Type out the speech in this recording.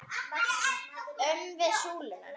Upp við súluna!